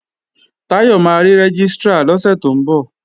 Táyọ̀ máa rí Rẹ́gístrà lọ́sẹ̀ tó ń bọ̀